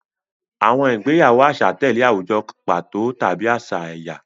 Àwọn ìgbéyàwó àṣà tẹ̀lé àwùjọ pàtó tàbí àṣà ẹ̀yà.